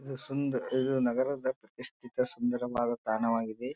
ಇದು ಸುಂದರ ಇದು ನಗರದ ನಿ ಸುಂದರವಾದ ತಾಣವಾಗಿದೆ.